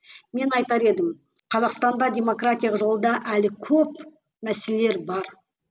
мен айтар едім қазақстанда демократиялық жолда әлі көп мәселелер бар